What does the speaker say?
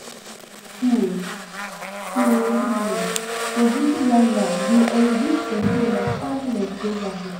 um To um dey visit landmarks dey enrich pesin understanding of geography.